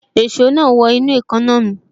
Èso náà wọ inú èékánná mi